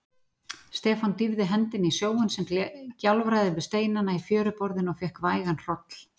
Stefán dýfði hendinni í sjóinn sem gjálfraði við steinana í fjöruborðinu og fékk vægan hroll.